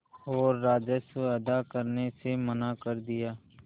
और राजस्व अदा करने से मना कर दिया